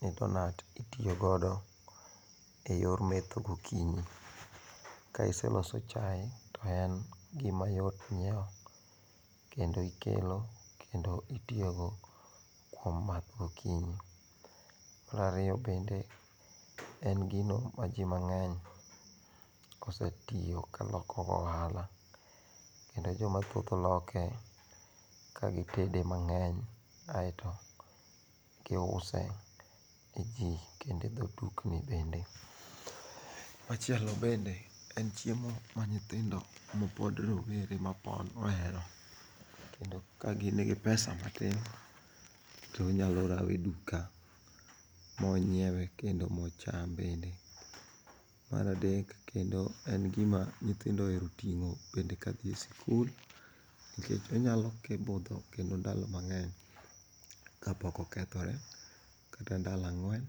ni donuts itiyo godo e yor metho gokinyi, kai iseloso chai to en gima yot nyiewo gokinyi kendo ikelo kendo itiyogodo kuom math gokinyi. Marariyo bende en gino ma ji mange'ny osetiyogodo ka loko godo ohala, kendo jomathoth loke kagitede mangeny aeto giuse ne ji kendo ne jodukni bende, machielo bende en chiemo ma nyithindo ma pod rowere ma pon ohero kendo ka gin gi pesa matin to onyalo rawe e duka monyiewe kendo ma ocham bende, maradek kendo en gima nyithindo ohero tingo' kinde ka thie school kikech onyalo butho kendo ndalo mange'ny kapok okethore kata ndalo ang'wen